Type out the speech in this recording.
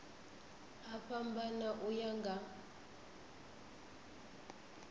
a fhambana u ya nga